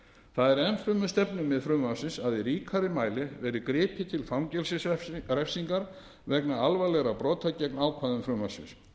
það er enn fremur stefnumið frumvarpsins að í ríkari mæli verði gripið til fangelsisrefsingar vegna alvarlegra brota gegn ákvæðum frumvarpsins